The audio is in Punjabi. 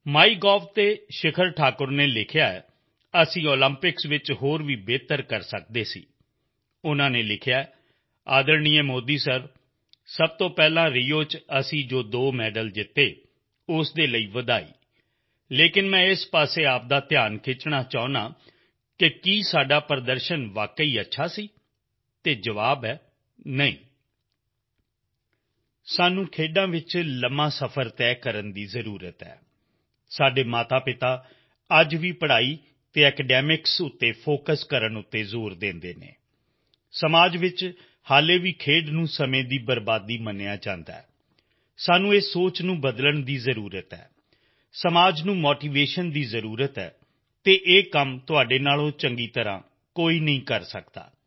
ਮਾਈਗੋਵ ਤੇ ਸ਼ਿਖਰ ਠਾਕੁਰ ਨੇ ਲਿਖਿਆ ਹੈ ਕਿ ਅਸੀਂ ਓਲੰਪਿਕ ਵਿੱਚ ਹੋਰ ਵੀ ਵਧੀਆ ਕਰ ਸਕਦੇ ਸੀ ਉਨ੍ਹਾਂ ਨੇ ਲਿਖਿਆ ਹੈ ਸਤਿਕਾਰਯੋਗ ਮੋਦੀ ਸਰ ਸਭ ਤੋਂ ਪਹਿਲਾਂ ਰਿਓ ਵਿੱਚ ਅਸੀਂ ਜੋ ਦੋ ਮੈਡਲ ਜਿੱਤੇ ਉਸਦੇ ਲਈ ਵਧਾਈ ਪਰ ਮੈਂ ਇਸ ਤਰਫ਼ ਤੁਹਾਡਾ ਧਿਆਨ ਖਿੱਚਣਾ ਚਾਹੁੰਦਾ ਹਾਂ ਕਿ ਕੀ ਸਾਡਾ ਪ੍ਰਦਰਸ਼ਨ ਅਸਲ ਵਿੱਚ ਵਧੀਆ ਸੀ ਅਤੇ ਜਵਾਬ ਹੈ ਨਹੀਂ ਸਾਨੂੰ ਖੇਡਾਂ ਵਿੱਚ ਲੰਬਾ ਸਫ਼ਰ ਤੈਅ ਕਰਨ ਦੀ ਜ਼ਰੂਰਤ ਹੈ ਸਾਡੇ ਮਾਤਾਪਿਤਾ ਅੱਜ ਵੀ ਪੜ੍ਹਾਈ ਅਤੇ academicsਤੇ ਫੋਕਸ ਕਰਨ ਤੇ ਜ਼ੋਰ ਦਿੰਦੇ ਹਨ ਸਮਾਜ ਵਿੱਚ ਹੁਣ ਵੀ ਖੇਡਾਂ ਨੂੰ ਸਮੇਂ ਦੀ ਬਰਬਾਦੀ ਮੰਨਿਆ ਜਾਂਦਾ ਹੈ ਸਾਨੂੰ ਇਸ ਸੋਚ ਨੂੰ ਬਦਲਣ ਦੀ ਜ਼ਰੂਰਤ ਹੈ ਸਮਾਜ ਨੂੰ ਮੋਟੀਵੇਸ਼ਨ ਦੀ ਜ਼ਰੂਰਤ ਹੈ ਅਤੇ ਇਹ ਕੰਮ ਤੁਹਾਡੇ ਤੋਂ ਜ਼ਿਆਦਾ ਵਧੀਆ ਕੋਈ ਨਹੀਂ ਕਰ ਸਕਦਾ